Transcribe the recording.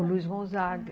O Luiz Gonzaga.